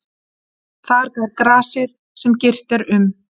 Þar grær grasið sem girt er um.